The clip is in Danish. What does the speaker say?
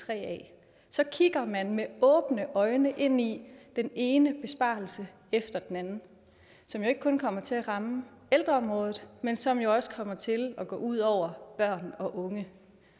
af så kigger man med åbne øjne ind i den ene besparelse efter den anden som jo ikke kun kommer til at ramme ældreområdet men som også kommer til at gå ud over børn og unge